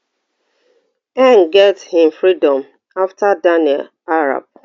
get im freedom afta daniel arap